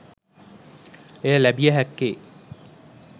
එය ලැබිය හැක්කේ